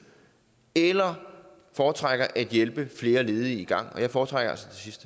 eller foretrækker at hjælpe flere ledige i gang og jeg foretrækker